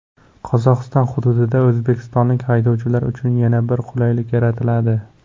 Qozog‘iston hududida o‘zbekistonlik haydovchilar uchun yana bir qulaylik yaratiladi.